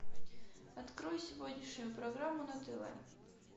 открой сегодняшнюю программу на тв